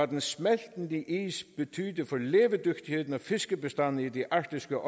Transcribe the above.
den smeltende is betyder for levedygtigheden af fiskebestande i det arktiske